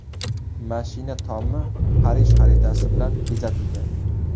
Mashina tomi Parij xaritasi bilan bezatilgan.